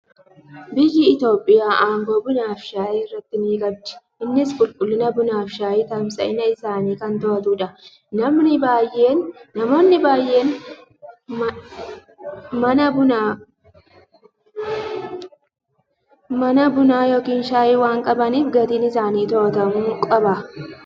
Biyyi Itoophiyaa aangoo bunaa fi shayii irratti ni qabdi. Innis qulqullina bunaa fi shayii, tamsa'iinsa isaanii kan to'atudha. Namoonni baay'een mana bunaa yookiin shayii waan qabaniif, gatiin isaanii to'atamuu qaba.